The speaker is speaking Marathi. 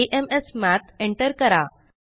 usepackageamsmath एंटर करा